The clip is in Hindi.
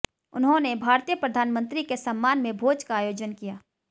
उन्होंने भारतीय प्रधानमंत्री के सम्मान में भोज का आयोजन किया